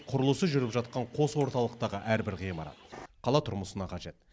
құрылысы жүріп жатқан қос орталықтағы әрбір ғимарат қала тұрмысына қажет